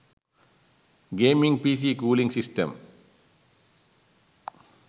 gaming pc cooling system